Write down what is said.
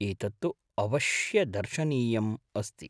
एतत् तु अवश्यदर्शनीयम् अस्ति।